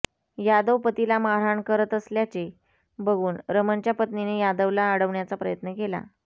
यादव पतीला मारहाण करत असल्याचे बघून रमणच्या पत्नीने यादवला अडवण्याचा प्रयत्न केला